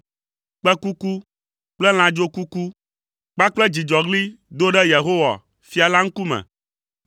kpẽkuku kple lãdzokuku kpakple dzidzɔɣli do ɖe Yehowa, fia la ŋkume.